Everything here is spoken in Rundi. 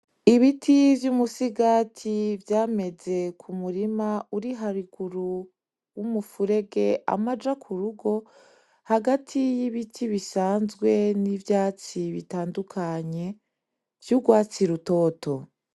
Ibiti vy'umusigati vyameze ku murima uri haruguru y'umufurege amaja ku rugo, hagati y'ibiti n'ivyatsi bitandukanye vy'urwatsi rutoto.